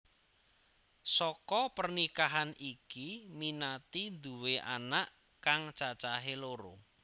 Saka pernikahan iki Minati nduwé anak kang cacahé loro